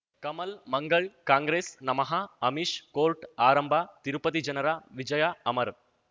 ಕಮಲ್ ಮಂಗಳ್ ಕಾಂಗ್ರೆಸ್ ನಮಃ ಅಮಿಷ್ ಕೋರ್ಟ್ ಆರಂಭ ತಿರುಪತಿ ಜನರ ವಿಜಯ ಅಮರ್